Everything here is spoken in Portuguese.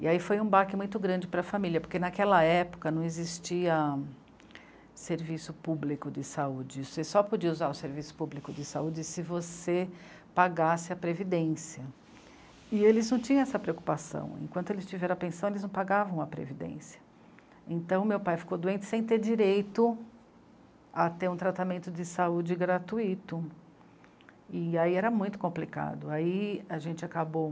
e aí foi um baque muito grande para a família, porque naquela época não existia serviço público de saúde, você só podia usar o serviço público de saúde se você pagasse a previdência e eles não tinham essa preocupação, enquanto eles tiveram a pensão eles não pagavam a previdência então meu pai ficou doente sem ter direito a ter um tratamento de saúde gratuito e aí era muito complicado, aí a gente acabou